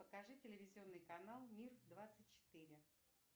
покажи телевизионный канал мир двадцать четыре